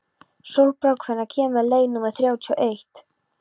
Sólbrá, hvenær kemur leið númer þrjátíu og eitt?